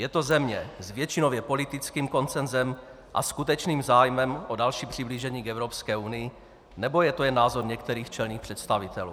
Je to země s většinově politickým konsensem a skutečným zájmem o další přiblížení k Evropské unii, nebo je to jen názor některých čelných představitelů?